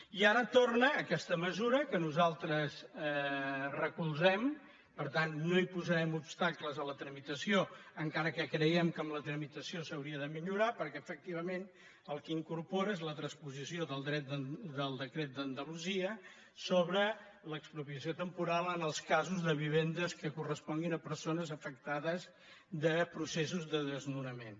i ara torna aquesta mesura que nosaltres recolzem per tant no posarem obstacles a la tramitació encara que creiem que amb la tramitació s’hauria de millorar perquè efectivament el que incorpora és la transposició del decret d’andalu·sia sobre l’expropiació temporal en els casos de viven·des que corresponguin a persones afectades de pro·cessos de desnonament